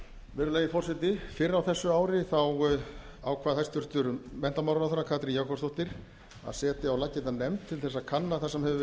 virðulegi forseti fyrr á þessu ári ákvað hæstvirtur menntamálaráðherra katrín jakobsdóttir að setja á laggirnar nefnd til þess að kanna það sem hefur